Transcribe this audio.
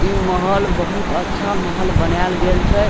इ महल बहुत अच्छा महल बनाएल गेल छै।